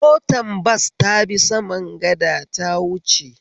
Motar bas tabi saman gada ta wuce